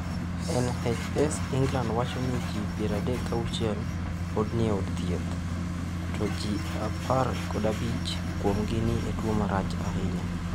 NHS England wacho ni ji 36 pod ni e od thieth, to 15 kuomgi ni e tuwo marach ahinya.